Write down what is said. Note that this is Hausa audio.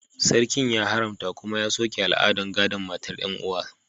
Sarki ya haramta kuma ya soke al'adar gadon mata 'yan'uwa